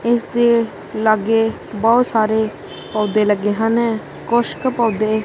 ਇਸਦੇ ਲੱਗੇ ਬਹੁਤ ਸਾਰੇ ਪੌਧੇ ਲੱਗੇ ਹਨ ਕੁੱਛਕ ਪੌਧੇ--